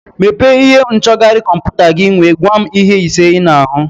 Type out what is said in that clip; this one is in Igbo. Mepee ihe nchọgharị kọmputa gị nwee gwa m ihe ise ị na-ahụ